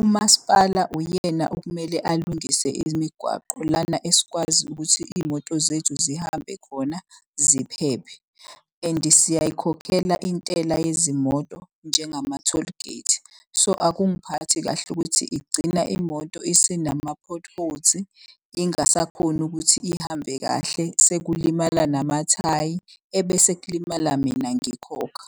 umasipala uyena okumele alungise imigwaqo. Lana esikwazi ukuthi iy'moto zethu zihambe khona ziphephe and siyayikhokhela intela yezimoto njengama-tollgate. So akungiphathi kahle ukuthi igcina imoto isinama-potholes ingasakhoni ukuthi ihambe kahle. Sekulimala namathayi ebese kulimala mina ngikhokha.